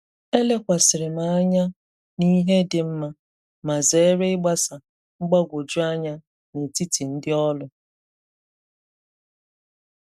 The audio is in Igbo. E lekwàsịrị m anya n'ihe dị mma, ma zèrè igbasà mgbagwoju anya n’etìti ndị òlụ.